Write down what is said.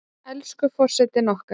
Elsku forsetinn okkar!